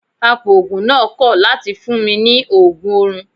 Apoògùn náà kọ̀ láti fún mi ní Ògùn orun.